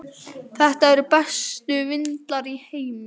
Þetta eru bestu vindlar í heimi.